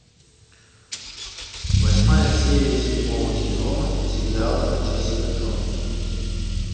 восьмая серия седьмого сезона сериала джессика джонс